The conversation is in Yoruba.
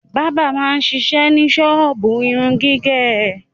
Bábà máa ń ṣiṣẹ́ ní ṣọ́ọ́bù irun gígẹ̀.